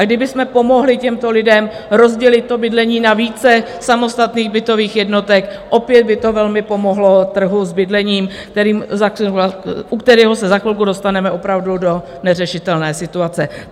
A kdybychom pomohli těmto lidem rozdělit to bydlení na více samostatných bytových jednotek, opět by to velmi pomohlo trhu s bydlením, u kterého se za chvilku dostaneme opravdu do neřešitelné situace.